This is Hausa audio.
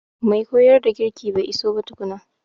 Mai koyar da girki bai iso ba tukuna.